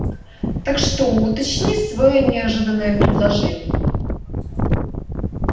так что уточни своё неожиданное предложение